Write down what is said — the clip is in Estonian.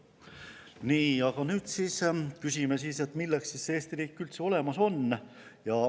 Nii, aga nüüd küsime, milleks siis Eesti riik üldse olemas on.